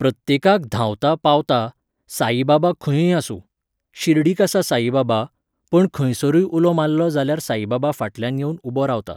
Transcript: प्रत्येकाक धांवता पावता, साईबाबा खंयूय आसूं. शिर्डीक आसा साईबाबा, पण खंयसरूय उलो मारलो जाल्यार साईबाबा फाटल्यान येवन उबो रावता